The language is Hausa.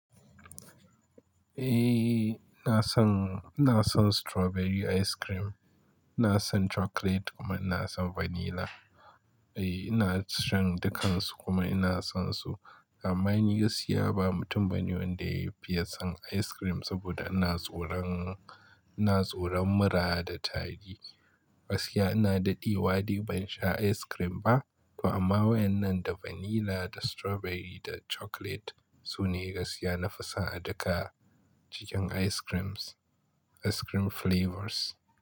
Eh, ina son, ina son strawberry ice cream. Ina son chocolate kuma ina son vanilla. Eh, ina son dukansu kuma ina sonsu. Amma ni gaskiya ba mutum bane wanda ya fiye son ice cream saboda ina tsoran, ina tsoran mura da tari. Gaskiya ina daɗi waɗe ban sha ice cream ba. To amma wayan nan da vanilla, da strawberry da chocolate su ne gaskiya na fi son a duka cikin ice creams, ice cream flavors.